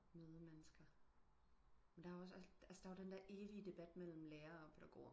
Møde mennesker men der er jo også altså der er den der evide debat mellem lærer og pædagoger